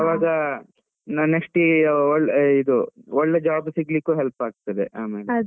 ಆವಾಗ next ಇ~ ಇದು ಒಳ್ಳೆ job ಸಿಗ್ಲಿಕ್ಕೂ help ಆಗ್ತದೆ ಆಮೇಲೆ.